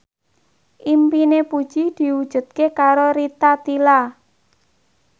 impine Puji diwujudke karo Rita Tila